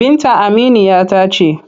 Binta aminiya ta ce.